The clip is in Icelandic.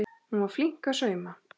Hún var flink að sauma.